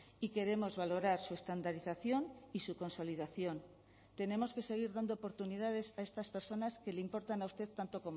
y queremos valorar su estandarización y su consolidación tenemos que seguir dando oportunidades a estas personas que le importan a usted tanto